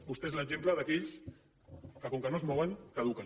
vostè és l’exemple d’aquells que com que no es mouen caduquen